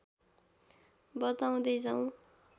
बताउँदै जाऊँ